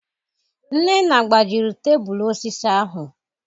Nnenna gbajịrị tebụlụ osịsị ahụ